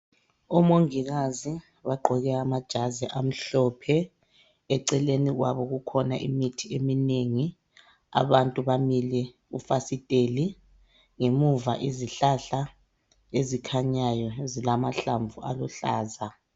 Omongikazi bagqoke amajazi amhlophe. Eceleni kwabo kukhona imithi eminengi. Abantu bamile kufasiteli. Ngemuva izihlahla ezikhanyayo zilamahlamvu aluhlaza.